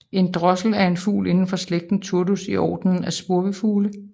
En drossel er en fugl indenfor slægten Turdus i ordenen af spurvefugle